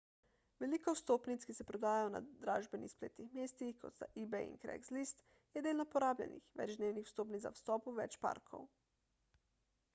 veliko vstopnic ki se prodajajo na dražbenih spletnih mestih kot sta ebay in craigslist je delno porabljenih večdnevnih vstopnic za vstop v več parkov